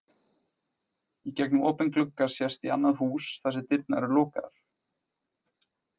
Í gegnum opinn glugga sést í annað hús þar sem dyrnar eru lokaðar.